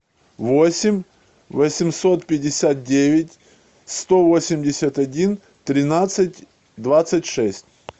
восемь восемьсот пятьдесят девять сто восемьдесят один тринадцать двадцать шесть